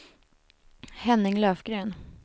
Henning Löfgren